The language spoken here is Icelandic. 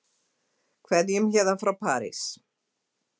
Kveðjum héðan frá París.